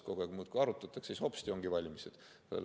Kogu aeg muudkui arutatakse ja siis hopsti ongi valimised!